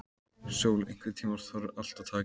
Sól, einhvern tímann þarf allt að taka enda.